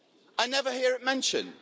I never hear it mentioned.